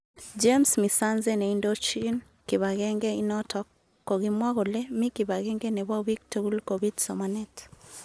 James misanze neindojin kipagenge inotok kokimwa kole mi kipagenge nebo bik tugul kobit somanet.